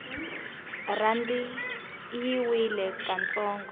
rhandi yi wile ka ntsongo